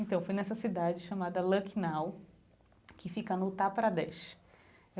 Então, foi nessa cidade chamada Lucknow, que fica no Uttar Pradesh.